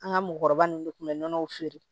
An ka mɔ nunnu de tun bɛ feere